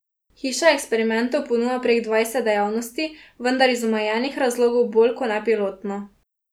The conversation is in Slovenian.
Hiša eksperimentov ponuja prek dvajset dejavnosti, vendar iz omenjenih razlogov bolj ko ne pilotno.